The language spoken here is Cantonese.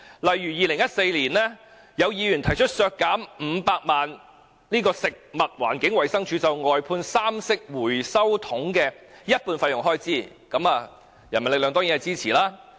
以2014年為例，有議員提出削減食物環境衞生署就外判三色回收桶的一半費用開支500萬元，人民力量當然支持。